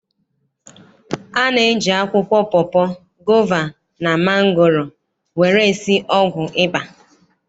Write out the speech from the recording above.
A na-eji akwụkwọ pọpọ, gova, na mangoro were esi ọgwụ ịba.